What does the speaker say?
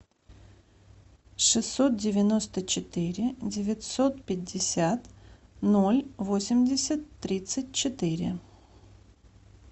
шестьсот девяносто четыре девятьсот пятьдесят ноль восемьдесят тридцать четыре